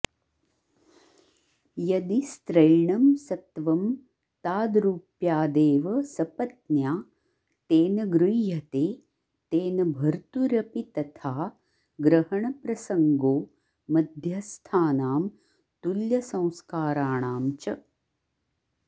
यदि स्त्रैणं सत्त्वं ताद्रूप्यादेव सपत्न्या तेन गृह्यते तेन भर्तुरपि तथा ग्रहणप्रसंगो मध्यस्थानां तुल्यसंस्काराणां च